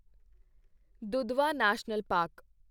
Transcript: Dudhwa National park